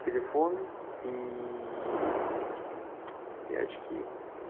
телефон и эти и очки